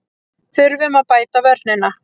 Þurfum að bæta vörnina